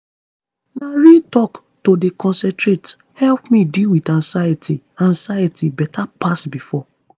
na real talk to dey concentrate help me deal with anxiety anxiety better pass before.